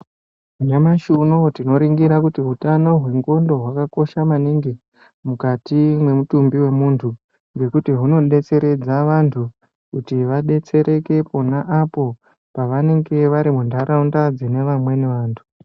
Nyamashi unoo tinoningira hutano hwendxondo hwakakosha maningi mukati mwemutumbi wemundu ngekuti hunodetseredza vandu kuti vadetsereke pona apo pavanenge vari mundaraunda dzine vamweni vandu.